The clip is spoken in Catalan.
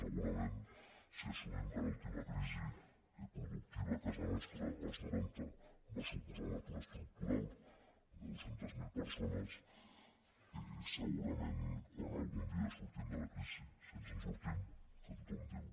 segurament si assumim que l’última crisi productiva a casa nostra als noranta va suposar un atur estructural de dos cents miler persones segurament quan algun dia sortim de la crisi si ens en sortim que tothom diu